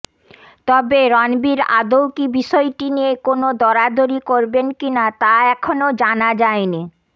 তবে রণবীর আদৌ কি বিষয়টি নিয়ে কোন দরাদরি করবেন কিনা তা এখনও জানা যায়নি